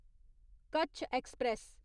Kutch express